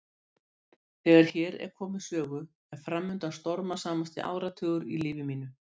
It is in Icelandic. Þegar hér er komið sögu er framundan stormasamasti áratugur í lífi mínu.